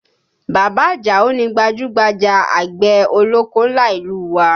Bàbá Àjàó ni gbajúgbajà àgbẹ̀ ọlọ́kọ́ ńlá ìlú u wa